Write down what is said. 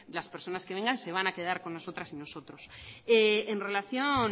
las personas que vengan se van a quedar con nosotras y nosotros en relación